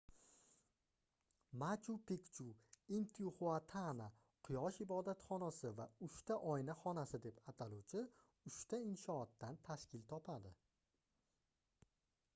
machu-pikchu intixuatana quyosh ibodatxonasi va uchta oyna xonasi deb ataluvchi uchta inshootdan tashkil topadi